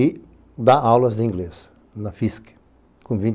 E dá aulas de inglês na FISC com vinte...